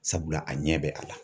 Sabula, a ɲɛ bɛ a la.